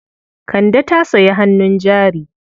Kande ta sayi hannun jari.